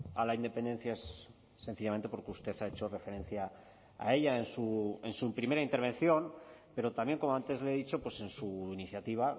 a la independencia es sencillamente porque usted ha hecho referencia a ella en su primera intervención pero también como antes le he dicho en su iniciativa